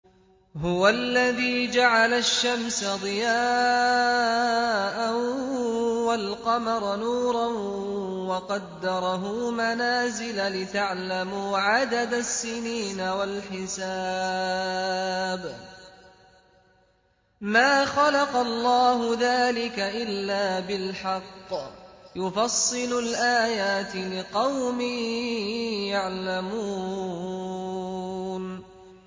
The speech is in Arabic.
هُوَ الَّذِي جَعَلَ الشَّمْسَ ضِيَاءً وَالْقَمَرَ نُورًا وَقَدَّرَهُ مَنَازِلَ لِتَعْلَمُوا عَدَدَ السِّنِينَ وَالْحِسَابَ ۚ مَا خَلَقَ اللَّهُ ذَٰلِكَ إِلَّا بِالْحَقِّ ۚ يُفَصِّلُ الْآيَاتِ لِقَوْمٍ يَعْلَمُونَ